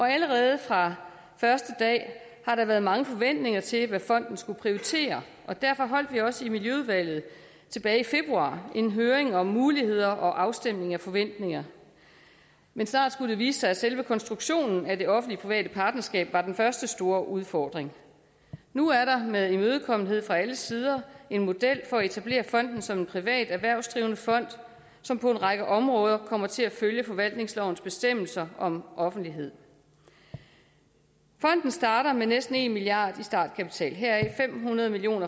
allerede fra første dag har der været mange forventninger til hvad fonden skulle prioritere og derfor holdt vi også i miljøudvalget tilbage i februar en høring om muligheder og om afstemning af forventninger men snart skulle det vise sig at selve konstruktionen af det offentlig private partnerskab var den første store udfordring nu er der med imødekommenhed fra alle sider en model for at etablere fonden som en privat erhvervsdrivende fond som på en række områder kommer til at følge forvaltningslovens bestemmelser om offentlighed fonden starter med næsten en milliard kroner i startkapital heraf er fem hundrede million